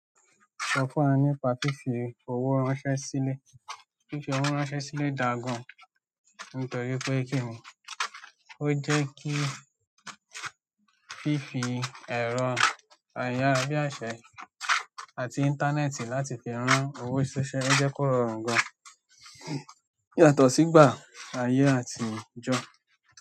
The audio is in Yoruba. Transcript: Sọ fún wa nípa fífi owó ránṣẹ́ sílẹ̀. Fífi owó ránṣẹ́ sílẹ̀ dà gan-an nítorí pé kí ni, ó jẹ́ kí fífi ẹ̀rọ ayára bí àṣẹ àti íńtánẹ́ẹ̀tì láti fi rán owó ṣiṣẹ́ o jẹ́ kó rọrùn gan-an yàtọ̀ sígbà ayé àtijọ́.